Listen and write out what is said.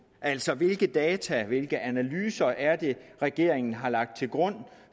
altså hvilke data og hvilke analyser er det regeringen har lagt til grund